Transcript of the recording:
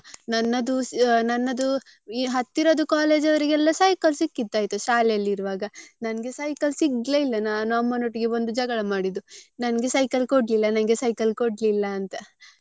ನನ್ನದು ನನ್ನದು ಈ ಹತ್ತಿರದ್ದು college ಯವರಿಗೆಲ್ಲ cycle ಸಿಕ್ಕಿದ್ದ ಆಯ್ತು ಶಾಲೆಯಲ್ಲಿ ಇರುವಾಗ ನಂಗೆ cycle ಸಿಗ್ಲೆ ಇಲ್ಲ ನಾನು ಅಮ್ಮನೊಟ್ಟಿಗೆ ಬಂದು ಜಗಳ ಮಾಡಿದ್ದು ನಂಗೆ cycle ಕೊಡ್ಲಿಲ್ಲ ನಂಗೆ cycle ಕೊಡ್ಲಿಲ್ಲ ಅಂತ.